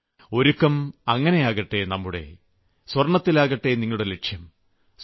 നമ്മുടെ ഒരുക്കം അങ്ങിനെയാകട്ടെ സ്വർണ്ണത്തിലാകട്ടെ നിങ്ങളുടെ ലക്ഷ്യം